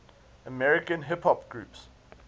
american hip hop groups